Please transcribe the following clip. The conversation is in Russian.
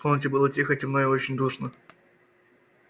в комнате было тихо темно и очень душно